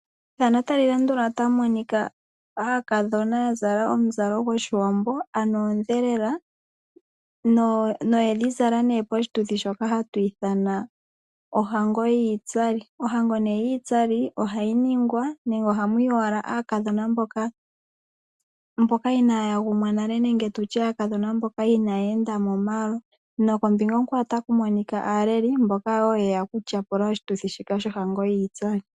Aakadhona ya zala omuzalo gwOshiwambo ano oondhelela noye dhi zala poshituthi shoka hatu ithana ohango yiitsali. Ohango yiitsali ohayi ningwa nenge ohamu yi wala aakadhona mboka inaaya gumwa nale nenge tu tye aakadhona mboka inaayeenda momalo. Nokombinga onkwawo otaku monika aaleli mboka wo ye ya okutyapula oshituthi shika shohango yiitsali.